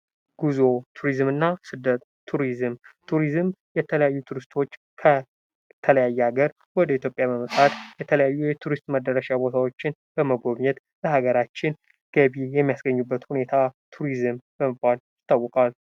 ጉዞና ቱሪዝም እና ስደት ።ቱሪዝም ።ቱሪዝም የተለያዩ ቱሪስቶች ከተለያየ አገር ወደ ኢትዮጵያ በመምጣት የተለያዩ የቱሪስት መዳረሻ ቦታዎችን በመጎብኘት ለሀገራችን ገቢ የሚያስገኙበት ሁኔታ ቱሪዝም በመባል ይታወቃል።